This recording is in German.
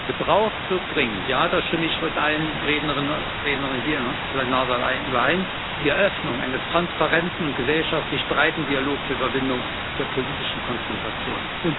Gebraucht wird dringend, ja, da stimme ich mit allen Rednerinnen und Rednern hier im Plenarsaal überein, die Eröffnung eines transparenten und gesellschaftlich breiten Dialogs zur Überwindung der politischen Konfrontation.